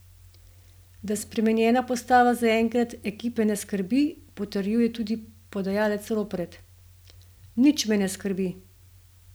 Da spremenjena postava zaenkrat ekipe ne skrbi, potrjuje tudi podajalec Ropret: "Nič me ne skrbi.